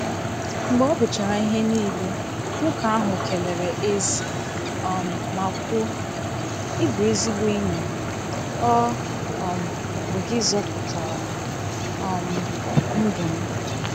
Mgbe ọ guchara ihe niile, nwoke ahụ keleere Ezi um ma kwuo, “Ị bụ ezigbo enyi, ọ um bụ gị zọpụtara um ndụ m.